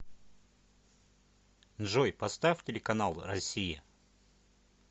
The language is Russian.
джой поставь телеканал россия